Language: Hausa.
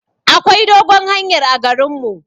Akwai dogon hanyar a garin mu.